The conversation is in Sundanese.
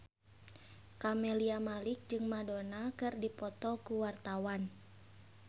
Camelia Malik jeung Madonna keur dipoto ku wartawan